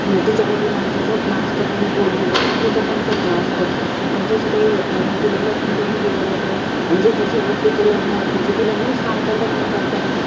तिच्या वडिलांचं स्वप्न असतं कि, ही police बनावं. तिचं पण स्वप्न असतं. पण तसं काही होत नाही. मग तिला लग्न करून दिलं जातं. अन ज्याच्यासोबत तिचं लग्न. म्हणजे तिला न सांगता लग्न करतात.